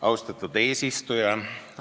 Austatud eesistuja!